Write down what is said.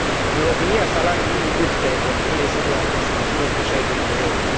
În România salariul minim brut pe economie este de aproximativ 160 de euro.